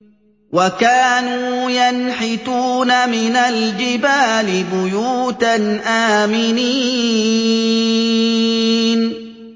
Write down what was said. وَكَانُوا يَنْحِتُونَ مِنَ الْجِبَالِ بُيُوتًا آمِنِينَ